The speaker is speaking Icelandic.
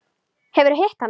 Hefurðu hitt hana?